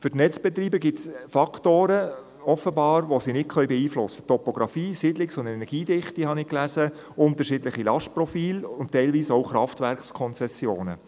Für die Netzbetreiber gibt es offenbar Faktoren, die sie nicht beeinflussen können: Topgrafie, Siedlungs- und Energiedichte, habe ich gelesen, unterschiedliche Lastprofile und teilweise auch Kraftwerkkonzessionen.